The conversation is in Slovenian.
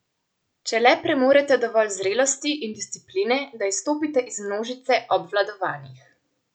Če le premorete dovolj zrelosti in discipline, da izstopite iz množice obvladovanih.